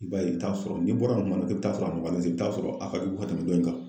I b'a ye i bi taa sɔrɔ n'i bɔra nin kuma na i bɛ taa sɔrɔ a nɔgɔya zen i bi taa sɔrɔ a ka jugu ka tɛmɛ dɔ in kan.